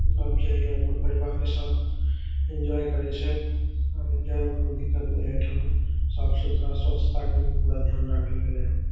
सब जैइए अपन परिवार के साथ एन्जॉय करीत हे। अब एन्जॉय में कोई दिक्कत नहीं आए थे वहाँ। साफ़ सुथरा पूरा स्वछता के पूरा ध्यान रखल गेलै हे।